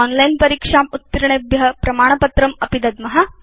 online परीक्षाम् उत्तीर्णेभ्य वयं प्रमाणपत्रमपि दद्म